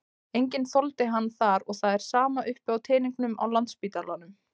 Enginn þoldi hann þar og það er sama uppi á teningnum á Landspítalanum.